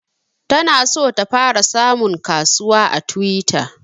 Ta na so ta fara samun kasuwa a twitter